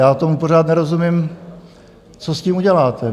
Já tomu pořád nerozumím, co s tím uděláte?